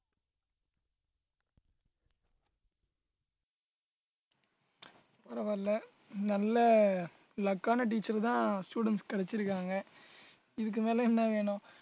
பரவாயில்லை நல்ல luck ஆன teacher தான் students க்கு கிடைச்சிருக்காங்க இதுக்கு மேல என்ன வேணும்